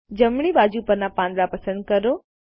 જમણી બાજુ પરના પાંદડા પસંદ કરો